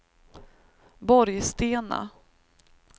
Borgstena